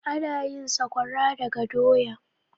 Ana yin sakwara daga doya.